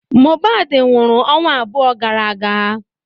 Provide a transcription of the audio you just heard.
Mohbad nwụrụ ọnwa abụọ gara aga.